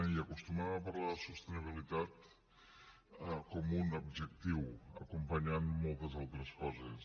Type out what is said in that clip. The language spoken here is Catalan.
i acostumem a parlar de sostenibilitat com un adjectiu acompanyant moltes altres coses